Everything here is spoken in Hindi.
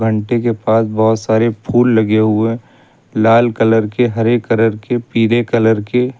घंटी के पास बहुत सारे फूल लगे हुए हैं। लाल कलर के हरे कलर के पीले कलर के।